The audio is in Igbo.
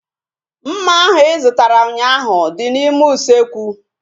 Mma ahu ị zụtara ụnyaahụ dị n'ime usekwu